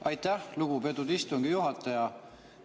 Aitäh, lugupeetud istungi juhataja!